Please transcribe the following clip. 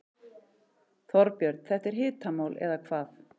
Þorbjörn, þetta er hitamál eða hvað?